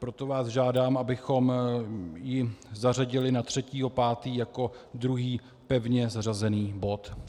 Proto vás žádám, abychom ji zařadili na 3. 5. jako druhý pevně zařazený bod.